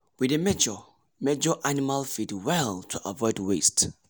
we dey measure measure animal feed well to avoid waste